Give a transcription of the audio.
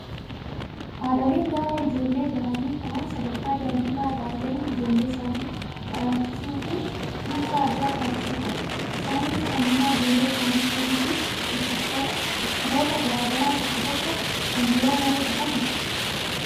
Haadholiin gaafa ijoollee dahanii ka'an sadarkaa daa'imummaa irraa eegaluun ijoollee isaanii talaalchisuu fi kunuunsa addaa taasisuu qabu. Isaanis fayyummaa ijoollee isaanii eeguu fi dhukkuboota garaagaraa tokko tokko kan yeroo malee dhufan ittisa.